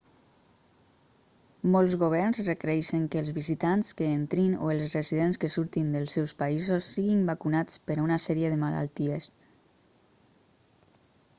molts governs requereixen que els visitants que entrin o els residents que surtin dels seus països siguin vacunats per a una sèrie de malalties